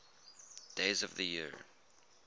days of the year